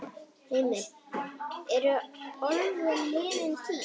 Heimir: Eru álver liðin tíð?